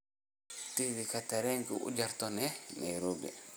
tigidh tareen u jarto nairobi